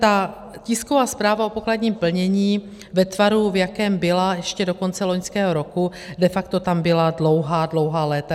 Ta tisková zpráva o pokladním plnění ve tvaru, v jakém byla ještě do konce loňského roku, de facto tam byla dlouhá, dlouhá léta.